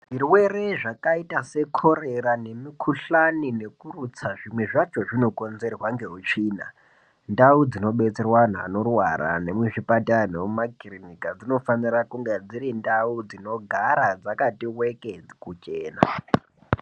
Zvirwere zvakaita sekhorera nemikhuhlani nekurutsa, zvimwe zvacho zvinokonzerwa ngeutsvina. Ndau dzinobetserwa anhu anorwara , nemuzvipatara nemumakirinika, dzinofanira kunga dziri ndau dzinogara dzakati wekee kuchena.